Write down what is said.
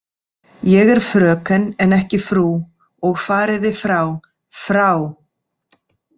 Ég er fröken en ekki frú og fariði frá, FRÁ.